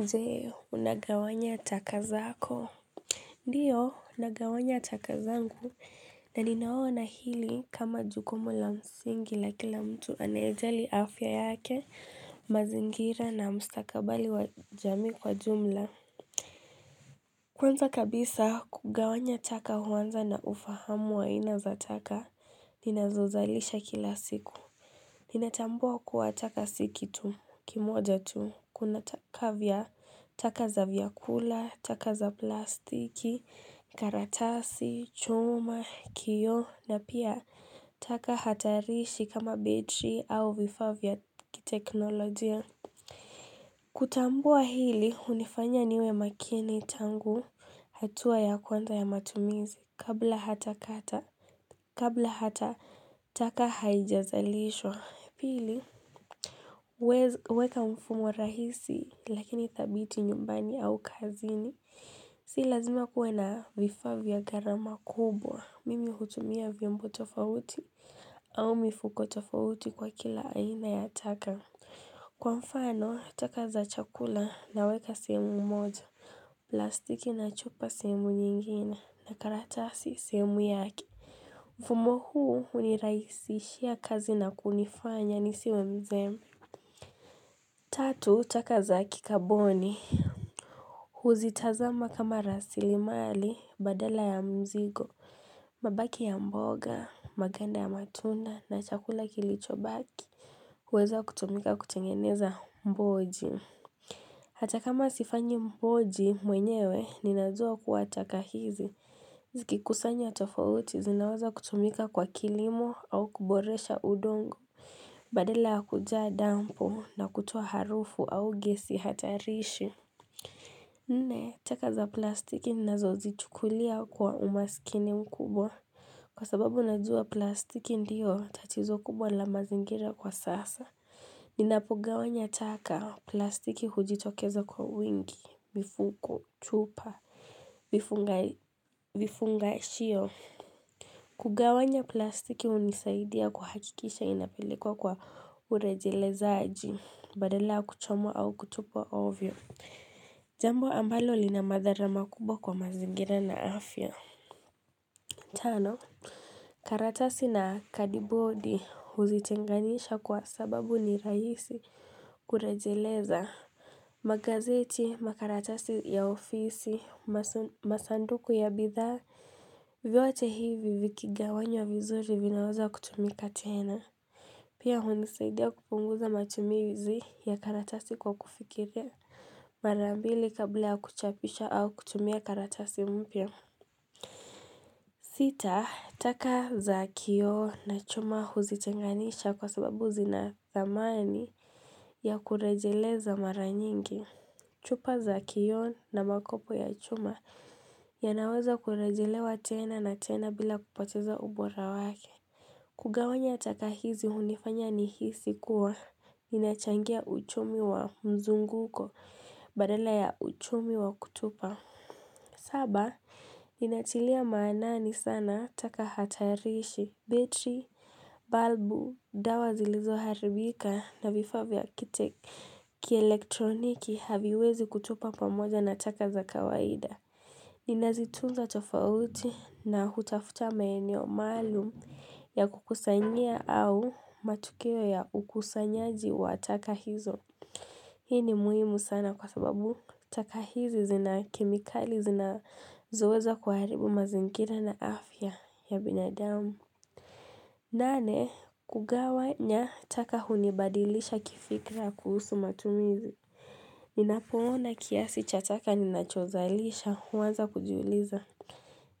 Je, unagawanya taka zako. Ndiyo, nagawanya taka zangu, na ninaona hili kama jukumu la msingi la kila mtu anaye jali afya yake, mazingira na mstakabali wa jamii kwa jumla. Kwanza kabisa, kugawanya ataka huanza na ufahamu wa ina za taka, nina zozalisha kila siku. Ninatambua kuwataka si kitu kimoja tu kuna taka kavya, taka za vyakula, taka za plastiki, karatasi, chuma, kioo na pia taka hatarishi kama battery au vifaa vya kiteknolojia. Kutambua hili hunifanya niwe makini tangu hatua ya kwanda ya matumizi kabla hata kata kabla hata taka haijazalishwa. Pili huweza huweka mfumo rahisi lakini thabiti nyumbani au kazini Si lazima kuwe na vifaa vya gharama kubwa Mimi hutumia vyombo tofauti au mifuko tofauti kwa kila aina ya taka Kwa mfano, taka za chakula naweka sehemu moja plastiki na chupa sehemu nyingine na karatasi sehemu yake Mfumo huu hunirahisishia kazi na kunifanya nisiwe mzembe Tatu taka za kikaboni Huzitazama kama rasilimali badala ya mzigo mabaki ya mboga, maganda ya matunda na chakula kilichobaki huweza kutumika kutengeneza mboji Hata kama sifanyi mboji mwenyewe ninajua kuwa taka hizi Zikikusanywa tofauti zinaweza kutumika kwa kilimo au kuboresha udongo Badala ya kujaa dampo na kutoa harufu au gesi hatarishi. Nne, taka za plastiki nazo zichukulia kwa umaskini mkubwa. Kwa sababu najuwa plastiki ndiyo, tatizo kubwa la mazingira kwa sasa. Ninapogawanya taka plastiki hujitokezo kwa wingi, mifuko, chupa, vifunga vifungashio. Kugawanya plastiki hunisaidia kuhakikisha inapeleko kwa urejelezaji. Badala ya kuchomwa au kutupwa ovyo Jambo ambalo lina madhara makubwa kwa mazingira na afya Tano karatasi na kadibodi huzitenganisha kwa sababu ni raisi kurejeleza magazeti, makaratasi ya ofisi, masanduku ya bidhaa vyote hivi vikigawanywa vizuri vinaweza kutumika tuena Pia hunisaidia kupunguza matumizi ya karatasi kwa kufikilia mara mbili kabla ya kuchapisha au kutumia karatasi mpya. Sita, taka za kioo na chuma huzitenganisha kwa sababu zinathamani ya kurejeleza mara nyingi. Chupa za kioo na makopo ya chuma yanaweza kurejelewa tena na tena bila kupateza ubora wake. Kugawanya taka hizi hunifanya ni hisi kuwa ninachangia uchumi wa mzunguko badala ya uchumi wa kutupa. Saba, ninatilia maana sana taka hatarishi, bitri, balbu, dawa zilizoharibika na vifaa vya kite ki elektroniki haviwezi kutupwa pamoja na taka za kawaida. Ninazitunza tofauti na hutafuta maenio maalu ya kukusanyia au matukeo ya ukusanyaji wa taka hizo. Hii ni muhimu sana kwa sababu taka hizi zina kimikali zina zoweza kuharibu mazingira na afya ya binadamu. Nane, kugawanya taka hunibadilisha kifikra kuhusu matumizi. Ninapoona kiasi cha taka ninachozalisha huwaza kujiuliza.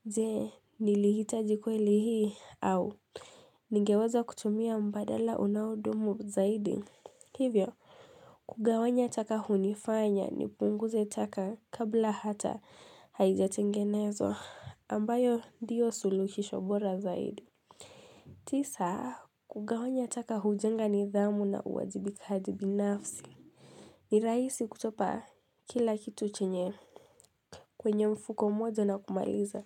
Je, nilihita kweli hii au, nigeweza kutumia mbadala unaudumu zaidi. Hivyo, kugawanya taka hunifanya nipunguze taka kabla hata haijatengenezwa ambayo ndiyo suluhisho bora zaidi. Tisa, kugawanya taka hujenga nidhamu na uwajibikajibi nafsi. Ni rahisi kutupa kila kitu chenye. Kwenye mfuko mmoja na kumaliza,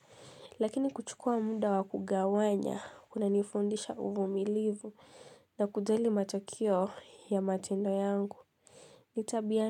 lakini kuchukua muda wakugawanya kuna nifundisha uvumilivu na kujali matakeo ya matendo yangu.